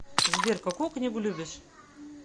сбер какую книгу любишь